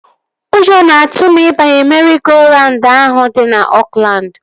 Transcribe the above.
Ụjọ nọ na-atụ m ịbanye meri-go-raund ahụ dị na Oakland